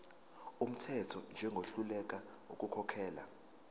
wumthetho njengohluleka ukukhokhela